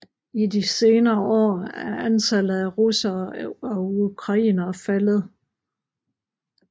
I de senere år er antallet af russere og ukrainere faldet